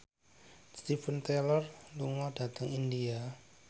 Steven Tyler lunga dhateng India